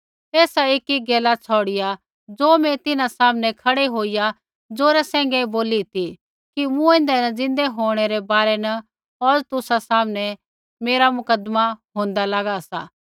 एसा एकी गैला छ़ौड़िआ ज़ो मैं तिन्हां सामनै खड़ै होईया ज़ोरा सैंघै बोली ती कि मूँऐंदै न ज़िन्दै होंणै रै बारै न औज़ तुसा सामनै मेरा मुकदमा होंदा लागा सा